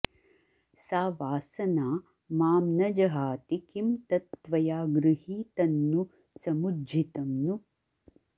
सा वासना मां नजहाति किं तत् त्वया गृहीतन्नु समुज्झितं नु